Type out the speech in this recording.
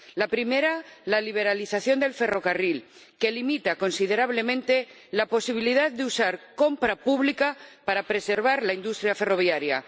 La primera, la liberalización del ferrocarril, que limita considerablemente la posibilidad de usar compra pública para preservar la industria ferroviaria.